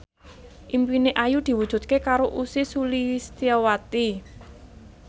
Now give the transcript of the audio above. impine Ayu diwujudke karo Ussy Sulistyawati